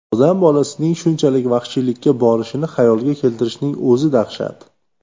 Odam bolasining shunchalik vahshiylikka borishini hayolga keltirishning o‘zi dahshat.